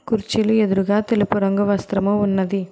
కుర్చీలు ఎదురుగా తెలుపు రంగు వస్త్రము ఉన్నది.